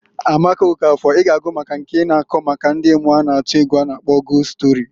Amaka Okafor I g'agụ maka nke na-akọ maka ndi mmuo na atu egwu a na -akpọ gost stori.